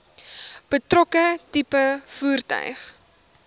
betrokke tipe voertuig